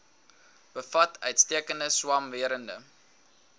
bevat uitstekende swamwerende